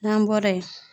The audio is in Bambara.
N'an bɔra yen